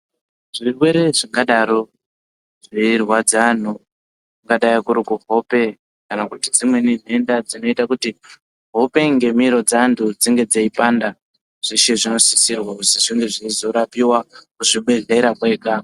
Zvirwere zvingadaro zveirwadza antu kungadai kuri kuhope kana kuti dzimweni denda dzinoita kuti hope ngemiro dzeantu dzinge dzeipanda zveshe zvinosisirwa kuti zvinge zveizorapirwa kuzvibhedhlera kwega .